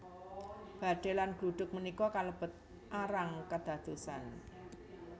Badai lan gluduk punika kalebet arang kedadosan